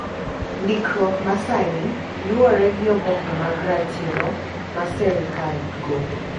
Ndikruok ma sani luwore gi oboke mag ratiro ma serical golo